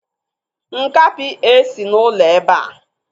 Nkapi esi n'ụlọ ebe a.